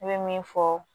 Ne bɛ min fɔ